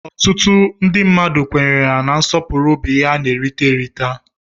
Ọtụtụ ndị mmadụ kwenyere na nsọpụrụ bụ ihe a na-erita erita.